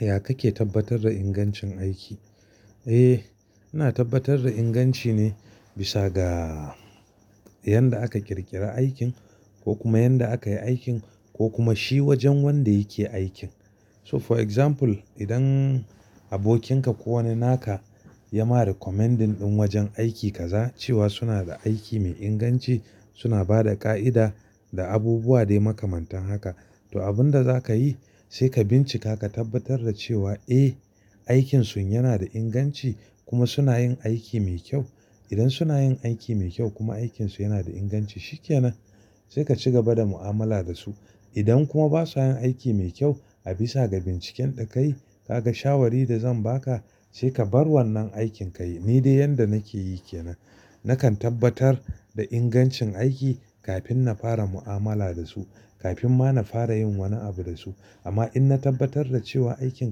Ya kake tabbatar da ingancin aiki? Eh, ina tabbatar da inganci ne bisa ga yanda aka ƙirƙira aikin ko kuma yanda aka yi aikin ko kuma shi wajen wanda yake aikin. So for example idan abokinka ko wani naka ya ma recommending ɗin wajen aiki kaza cewa suna da aiki mai inganci, suna bada ƙa'ida da abubuwa dai makamantan haka. To, abin da za ka yi sai ka bincika ka tabbatar da cewa eh, aikinsun yana da inganci kuma suna yin aiki mai kyau. Idan suna yin aiki mai kyau kuma aikinsu yana da inganci, shi ke nan. Sai ka ci gaba da mu'amala da su. Idan kuma ba sa yin aiki mai kyau a bisa ga binciken da ka yi, ka ga shawari da zan ba ka sai ka bar wannan aikin ka yi. Ni dai yanda nake yi ke nan. Nakan tabbatar da ingancin aiki kafin na fara mu'amala da su, kafin ma na fara yin wani abu da su. Amma in na tabbatar da cewa aikin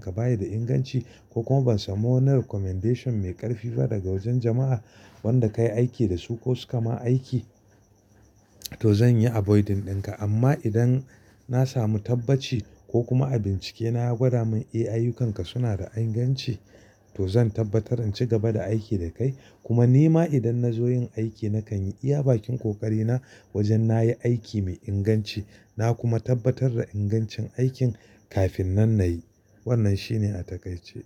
ka ba yi da inganci ko kuma ban samu wani recommendation mai ƙarfi fa daga wajen jama'a wanda ka yi aiki da su ko su ka ma aiki, to zan yi avoiding ɗin ka. Amma idan na samu tabbaci ko kuma a bincike na gwada mun eh ayyukanka suna da inganci, to zan tabbatar in ci gaba da aiki da kai. Kuma ni ma idan na zo yin aiki nakan yi iya bakin ƙoƙari na wajen na yi aiki mai inganci na kuma tabbatar da ingancin aikin kafin nan na yi. Wannan shi ne a takaice.